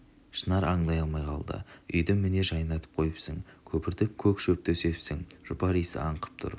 шынар аңдай алмай қалды үйді міне жайнатып қойыпсың көпіртіп көк шөп төсепсің жұпар иісі аңқып тұр